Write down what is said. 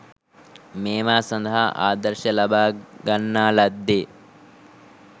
මේවා සඳහා ආදර්ශය ලබාගන්නා ලද්දේ